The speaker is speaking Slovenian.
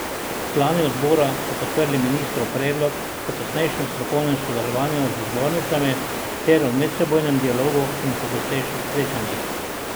Člani odbora so podprli ministrov predlog o tesnejšem strokovnem sodelovanju z zbornicami ter o medsebojnem dialogu in pogostejših srečanjih.